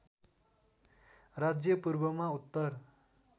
राज्य पूर्वमा उत्तर